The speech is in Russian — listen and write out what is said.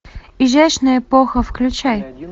изящная эпоха включай